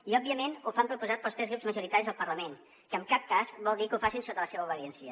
i òbviament ho fan proposats pels tres grups majoritaris al parlament que en cap cas vol dir que ho facin sota la seva obediència